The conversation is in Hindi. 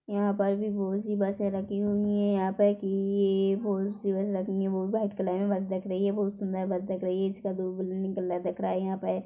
यहाँ पर भी बोहोत सी बसें रखी हुईइइ है यहाँ तक किइइइ बोहोत सी बस लगी हुई है वो व्हाइट कलर मे बस दिख रही है बोहोत सुन्दर बस दिख रही है एक का दो बलून निकल रहा है। दिख रहा यहाँ पे --